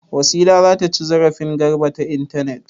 Wasila za ta ci zarafin Garba ta intanet.